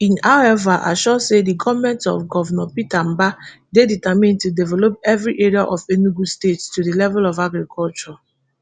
e however assure say di goment of govnor peter mbah dey determined to develop evri area of enugu state to di level of agriculture